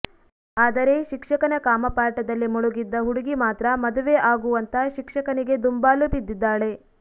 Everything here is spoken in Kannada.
ಆದರೆ ಶಿಕ್ಷಕನ ಕಾಮಪಾಠದಲ್ಲಿ ಮುಳುಗಿದ್ದ ಹುಡುಗಿ ಮಾತ್ರ ಮದುವೆ ಆಗು ಅಂತ ಶಿಕ್ಷಕನಿಗೆ ದುಂಬಾಲು ಬಿದ್ದಿದ್ದಾಳೆ